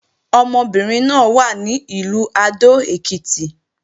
Ọmọbìnrin náà wà ní Ìlú Adó-Èkìtì